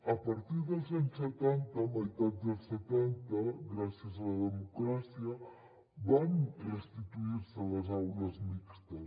a partir dels anys setanta meitat dels setanta gràcies a la democràcia van restituir se les aules mixtes